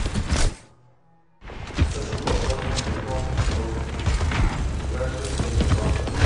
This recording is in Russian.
хочу пополнить телефон родственника ближайшее отделение банка